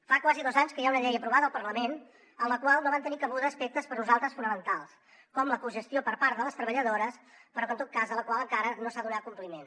fa quasi dos anys que hi ha una llei aprovada al parlament en la qual no van tenir cabuda aspectes per nosaltres fonamentals com la cogestió per part de les treballadores però que en tot cas a la qual encara no s’ha donat compliment